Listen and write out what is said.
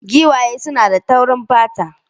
Giwaye suna da taurin fata